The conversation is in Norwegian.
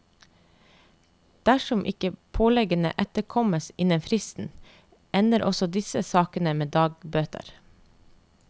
Dersom ikke påleggene etterkommes innen fristen, ender også disse sakene med dagbøter.